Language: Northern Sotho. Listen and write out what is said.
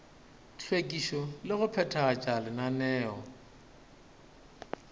hlwekišo le go phethagatša lenaneo